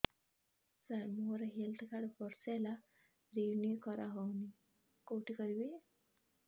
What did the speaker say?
ସାର ମୋର health card ବର୍ଷେ ହେଲା ରିନିଓ କରା ହଉନି କଉଠି କରିବି